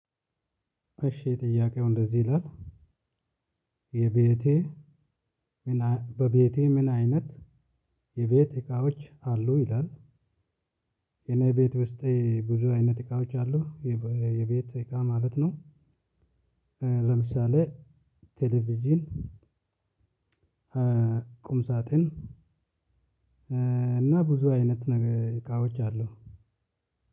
እሺ ጥያቄው እንደዚህ ይላል የቤትህ በቤትህ ምን አይነት የቤት እቃዎች አሉ? ይላል የኔ ቤት ውስጥ ብዙ አይነት እቃዎች አሉ የቤት እቃ ማለት ነው ለምሳሌ ቴሌቪዥን፣ ቁም ሳጥን እና ብዙ አይነት እቃዎች አሉ